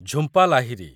Jhumpa Lahiri